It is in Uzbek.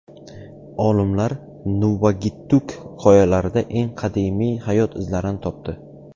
Olimlar Nuvvuagittuk qoyalarida eng qadimiy hayot izlarini topdi.